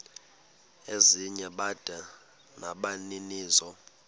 ezinye bada nabaninizo